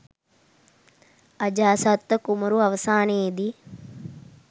අජාසත්ත කුමරු අවසානයේ දී